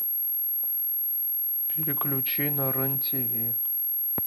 переключи на рен тв